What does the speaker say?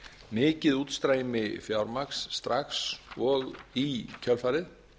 mikið útstreymi fjármagns strax og í kjölfarið